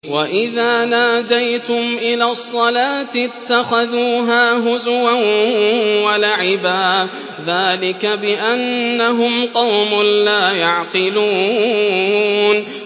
وَإِذَا نَادَيْتُمْ إِلَى الصَّلَاةِ اتَّخَذُوهَا هُزُوًا وَلَعِبًا ۚ ذَٰلِكَ بِأَنَّهُمْ قَوْمٌ لَّا يَعْقِلُونَ